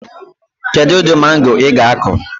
Kedụ ụdị mango ị ga akọ?